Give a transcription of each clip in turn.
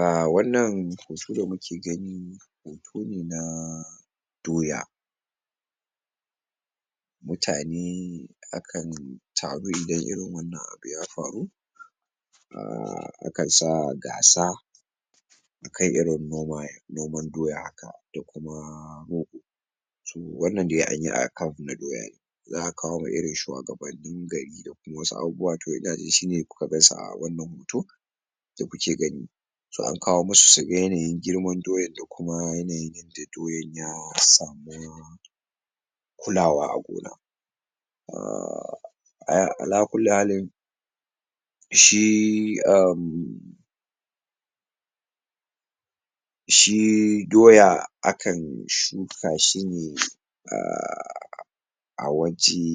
um a wannan hoto da muke gani hoto ne na Doya mutane akan taru idan irin wannan abu ya faru um yakan sa gasa akan irin noma noman Doya haka da kuma Rogo to wannna dai anyi akan na Doya ne za a kawo ma irin shuwagabanni gari da kuma wasu abubuwa to inajin shi ne kuka gansu a wannan hoton da kuke gani so an kawo musu suga yanayin girman Doyan da kuma yanayin yanda Doyan ya samu kulawa a gona um a ala kulli halin shi um shi Doya akan shuka shi ne um a waje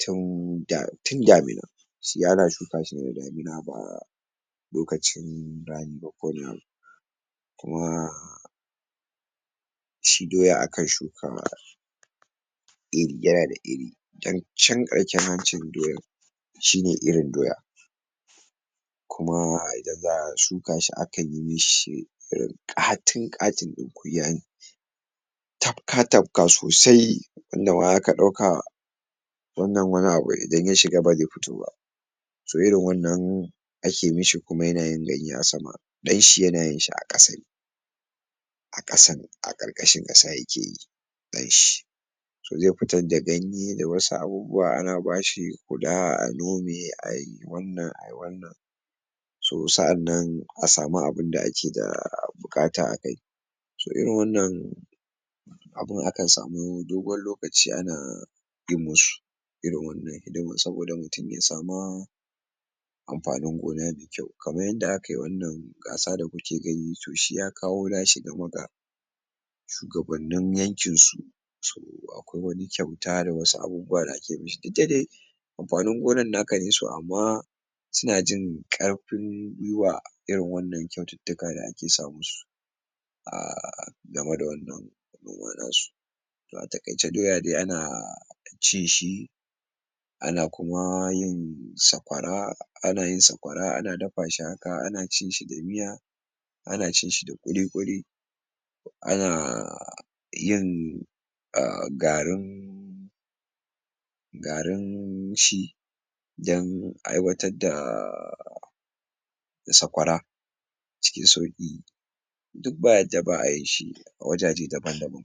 tun da tun damina shi ana shuka shi ne da damina ba lokacin rani ba um kuma shi Doya akan shuka um iri yana da iri don can karshen hancin doyar shi ne irin Doya kuma daga shuka shi akan yi mishi ƙatin-ƙatin ɗin kunya ne tafka-tafka sosai inda ma zaka ɗauka wannan wani abu idan ya shiga ba ze fito ba so irin wannan ake mishi kuma yanayin ganye a sama ɗanshi yanayin shi a ƙasa a ƙasa a ƙarƙashin ƙasa yake yi ɗanshi so ze fitar da ganye da wasu abubuwa ana ba shi huda a nome ai wannan ai wannan so sa'annan a samu abinda ake da buƙata akai so irin wannan abin akan samu dogon lokaci ana yin musu irin wannan domin saboda mutum ya sama amfanin gona me kyau kaman yanda akai wannan gasa da kuke gani to shi ya kawo na shi game ga shugabannin yankinsu so akwai wani kyauta da wasu abubuwa da ake mishi diddadai amfanin gonan naka ne so amma suna jin ƙarfin gwiwa irin wannan kyaututtuka da ake sa musu um game da wannan noma nasu a taƙaice Doya dai ana cin shi ana kuma yin sakwara ana yin shakwara ana dafa shi haka ana cinshi da miya ana cin shi da ƙuliƙuli ana yin um garin garin shi dan aiwatar da sakwara cikin sauƙi duk ba yadda ba a yinshi wajeje daban-daban